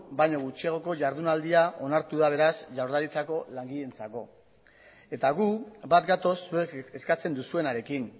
baino gutxiagoko jardunaldia onartu da beraz jaurlaritzako langileentzako eta gu bat gatoz zuek eskatzen duzuenarekin